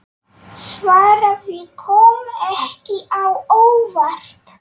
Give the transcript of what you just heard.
Svarið kom ekki á óvart.